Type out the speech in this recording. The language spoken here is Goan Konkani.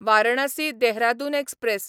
वारणासी देहरादून एक्सप्रॅस